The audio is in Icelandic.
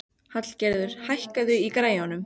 Hallgerður, hækkaðu í græjunum.